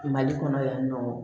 Mali kɔnɔ yan nɔ